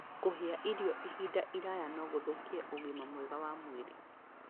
Kũhĩa irio ihinda iraya no gũthũkie ũgima mwega wa mwĩrĩ.